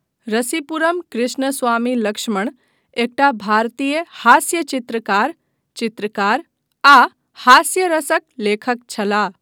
रसीपुरम कृष्णस्वामी लक्ष्मण एकटा भारतीय हास्यचित्रकार, चित्रकार आ हास्यरसक लेखक छलाह।